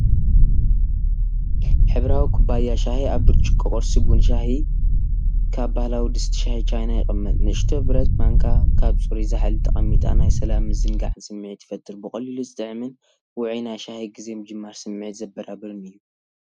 ሕብራዊ ኩባያ ሻሂ ኣብ ብርጭቆ ቁርሲ ቡን-ሻሂ ካብ ባህላዊ ድስቲ ሻሂ ቻይና ይቕመጥ። ንእሽቶ ብረት ማንካ ኣብ ጽሩይ ጻሕሊ ተቐሚጣ ናይ ሰላምን ምዝንጋዕን ስምዒት ይፈጥር። ብቐሊሉ ዝጥዕምን ውዑይ ናይ ሻሂ ግዜ ምጅማር ስምዒት ዘበራብርን እዩ።